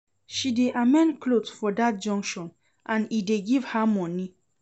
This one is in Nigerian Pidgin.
She dey amend clothe for dat junction and e dey give her moni.